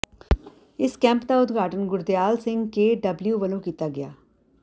ਇਸ ਕੈਂਪ ਦਾ ਉਦਘਾਟਨ ਗੁਰਦਿਆਲ ਸਿੰਘ ਕੇਡਬਲਯੂ ਵੱਲੋਂ ਕੀਤਾ ਗਿਆ